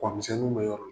Kɔmisɛnninw bɛ yɔrɔ min